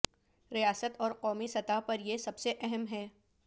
ریاست اور قومی سطح پر یہ سب سے اہم ہے